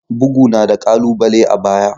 Bugu na da ƙalubale a baya.